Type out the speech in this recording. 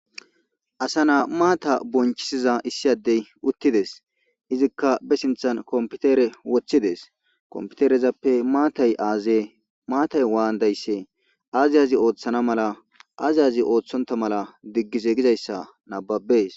Asa naa maata bonchisiza issi addey uttides. Izikka be sinthan kompitere woththides. Komppiterezappe maatay aaze maatay waandaysse aazi aazi ooththana mala aazi aazi ooththonta mala diggize gizayssa nabbabees.